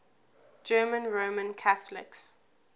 german roman catholics